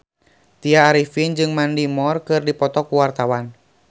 Tya Arifin jeung Mandy Moore keur dipoto ku wartawan